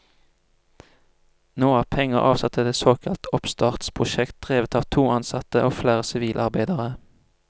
Nå er penger avsatt til et såkalt oppstartsprosjekt, drevet at to ansatte og flere sivilarbeidere.